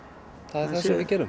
það sem við gerum